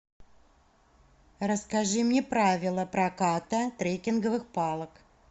расскажи мне правила проката трекинговых палок